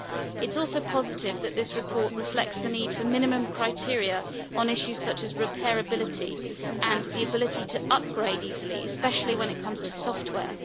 It is also positive that this report reflects the need for minimum criteria on issues such as reparability and the ability to upgrade easily, especially when it comes to software.